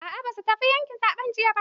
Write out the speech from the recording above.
A'a ba su fita yaqin zaɓe jiya ba.